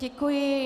Děkuji.